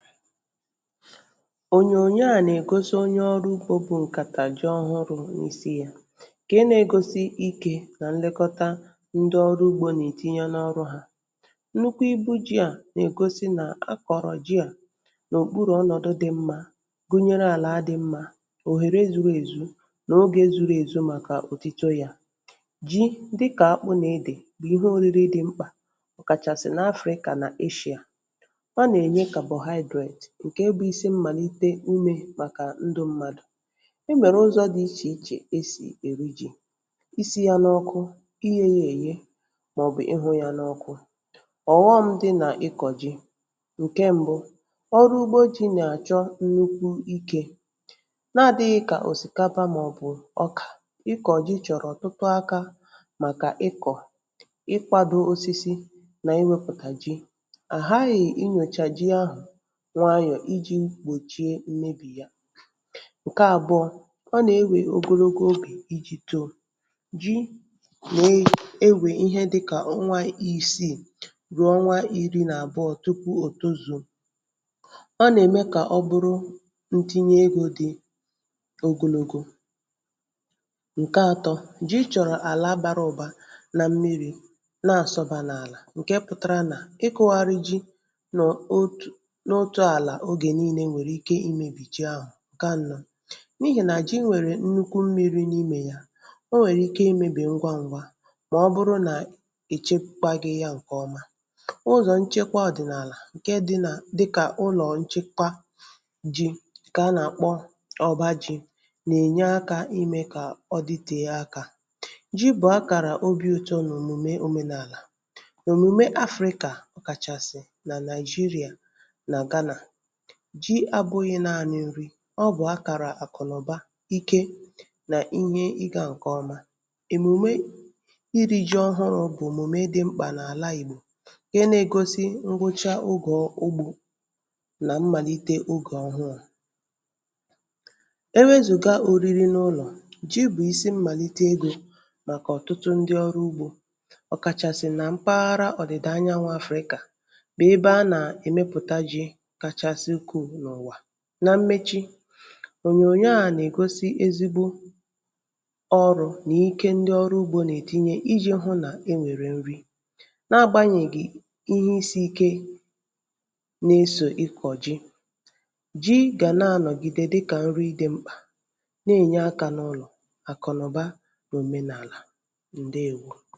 Ònyònyo a nègosi onye ọrụ ugbō bu ǹkàtà ji ọhụrụ̄ n’isi yā. ǹke negosi ikē nà nlekọta ndi ọrụ ugbō nètinye n’ọrụ yā Nnukwu ibu ji à nègosi nà-akọ̀rọ̀ ji à n’òkpurù ọnọ̀du dị mmā, gunyere àla dị̄ mmā, òhère zuru èzu nò ogē zuru èzu màkà òtuto yā Ji dịkà akpụ nà edè bù ihe òriri dị mkpà ọ kàchàsị̀ n’Africa nà Asia Ọ nènye Carbohydrate ǹke bụ isi mmàlite inyē màkà ndụ̄ mmadụ̀ E nwèrè ụzọ̄ dị ichè ichè esì èri ji: isī yā n’ọkụ, iyē yē èye, mọ̀bụ̀ ịhụ̄ yā n’ọkụ. Ọ̀ghọm̄ dị nà ịkọ̀ jị: ǹke mbụ ọrụgbo jī nàchọ nnukwu ikē nadị̄ghị̄ kà òsìkapa mọ̀bụ̀ ọkà, ịkọ̀ ji chọ̀rọ̀ ọ̀tụtụ akā màkà ịkọ̀ Ịkwādō osisi nà iwēpụ̀tà ji ọ̀ ghaghị̀ inyòchà ji ahù nwayọ̀ ijī gbòchie mmebì ya. Ǹke àbụọ, ọ nè-ewè ogologo ogè ijì too Ji nè-ewè ihe dịkà ọnwa isịị mọ̀bụ̀ mọ̀bụ̀ ọnwa iri nàbụọ tupu òtozùò Ọ nème kà ọ buru ntinye udi ogologo. Ǹka ato, ji chọ̀rọ̀ àla bara ụba nà mmirī na-àsọbā n’àlà ǹke pụtara nà ịkụ̄gharị ji nọ̀ otù n’otụ̄ àlà ogè niilē nwèrike imēbì ji ahụ̀, ǹke anọ n’ihìnà ji nwèrè nnukwu mmīrī n’imē yā ̄, o nwèrè ike imēbì ngwa ngwa mọ̀bụrụ nà èchekwāghị ya ǹkọ̀ọma Ụzọ̀ nchekwa ọ̀dị̀nàlà ǹke dịnà dịkà ụlọ̀ nchekwa ji kà a nàkpọ ọba jī nènye akā imē kà ọ ditèe akā Ji bụ̀ akàra obī ụtọ nò òmùme òmenàlà òmùme Africa, kàchàsị̀ nà Nàị̀jịrịā nà Gánà. Ji abụ̄ghị̄ naāni nri ọ bụ̀ akàrà àkụ̀nụ̀ba, ike nà ihe ịgā ǹkọ̀ọma. Òmùme irī ji ọhụrụ̄ bụ̀ òmùme dị mkpà n’àla Ìgbò ǹke nēgosi ngwụcha ogọ̀ ogbū nà mmàlite ogè ọhụ yā Ewezùga òriri n’ụlọ̀, ji bụ̀ isi mmàlite egō màkà ọ̀tụtụ ndị ọrụ ugbō ọ̀ kàchàsị̀ nà mpaghara ọ̀dị̀dà anyanwụ̄ Africa bè ebe a nèmepùta ji kachasị ukwuu n’ụ̀wà Nà mmechi, ònyònyo a nègosi ezigbo ọrụ̄ nì ike ndị ọrụ ugbō nètinye ijī hụ nè-enwèrè nri nagbānyègì ihe isī ike nesò ịkọ̀ ji. Ji gà na anọ̀gide dịkà nri dị̄ mkpà ne-ènye akā n’ụlọ̀, àkụ̀nụ̀ba nò òmenàlà. Ǹdeewo